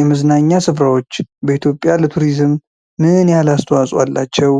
የመዝናኛ ስፍራዎች በኢትዮጵያ ለቱሪዝም ምን አስተዋጽዖ አላቸው?